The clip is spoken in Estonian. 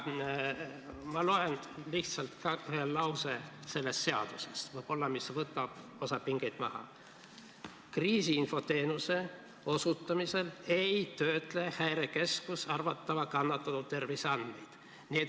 Ma loen sellest seadusest ette lihtsalt ühe lause, mis võib-olla võtab osa pingeid maha: "Kriisiinfo teenuse osutamisel ei töötle Häirekeskus arvatava kannatanu terviseandmeid.